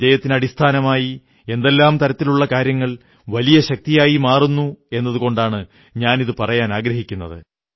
വിജയത്തിനടിസ്ഥാനമായി എന്തെല്ലാം തരത്തിലുള്ള കാര്യങ്ങൾ വലിയ ശക്തിയായി മാറുന്നു എന്നതുകൊണ്ടാണ് ഞാനിതു പറയാനാഗ്രഹിക്കുന്നത്